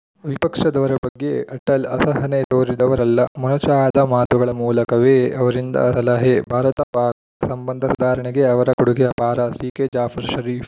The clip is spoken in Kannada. ವಿಪಕ್ಷದವರ ಬಗ್ಗೆ ಅಟಲ್‌ ಅಸಹನೆ ತೋರಿದವರಲ್ಲ ಮೊನಚಾದ ಮಾತುಗಳ ಮೂಲಕವೇ ಅವರಿಂದ ಸಲಹೆ ಭಾರತಪಾಕ್‌ ಸಂಬಂಧ ಸುಧಾರಣೆಗೆ ಅವರ ಕೊಡುಗೆ ಅಪಾರ ಸಿಕೆ ಜಾಫರ್‌ ಶರೀಫ್‌